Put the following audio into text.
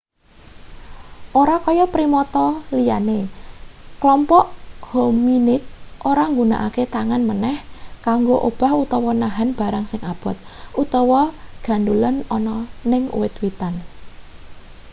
ora kaya primata liyane klompok hominid ora nggunakake tangane maneh kanggo obah utawa nahan barang sing abot utawa gandhulan ana ning wit-witan